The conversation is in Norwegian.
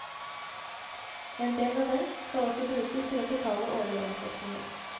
En del av dem skal også brukes til å betale årlige omkostninger.